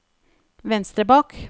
venstre bak